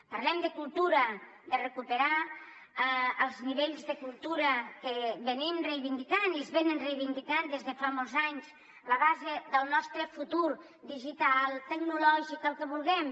parlem de cultura de recuperar els nivells de cultura que reivindiquem i hem reivindicat des de fa molts anys la base del nostre futur digital tecnològic el que vulguem